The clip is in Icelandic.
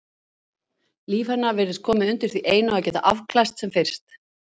Líf hennar virtist komið undir því einu að geta afklæðst sem fyrst.